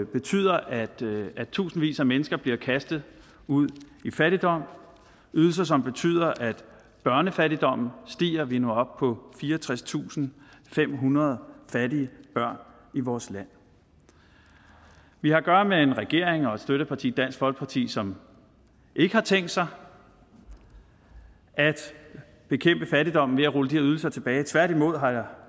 betyder at tusindvis af mennesker bliver kastet ud i fattigdom ydelser som betyder at børnefattigdommen stiger vi er nu oppe på fireogtredstusinde og femhundrede fattige børn i vores land vi har at gøre med en regering og et støtteparti dansk folkeparti som ikke har tænkt sig at bekæmpe fattigdommen ved at rulle de her ydelser tilbage tværtimod har